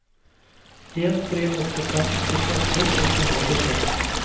en tre åtte fem trettiåtte seks hundre og tjuetre